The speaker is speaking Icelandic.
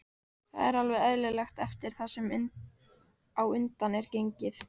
Það er alveg eðlilegt eftir það sem á undan er gengið.